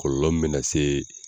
Kɔlɔlɔ min bɛ na se